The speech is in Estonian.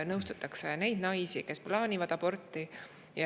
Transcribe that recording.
Nõustatakse naisi, kes plaanivad teha aborti.